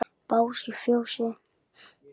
Bás í fjósi?